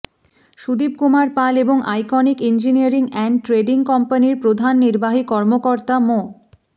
সুদীপ কুমার পাল এবং iconic engineering and trading কম্পানির প্রধান নির্বাহী কর্মকর্তা মো